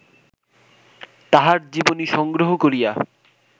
তাঁহার জীবনী সংগ্রহ করিয়া